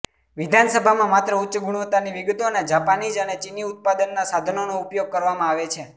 વિધાનસભામાં માત્ર ઉચ્ચ ગુણવત્તાની વિગતો અને જાપાનીઝ અને ચીની ઉત્પાદનના સાધનોનો ઉપયોગ કરવામાં આવે છે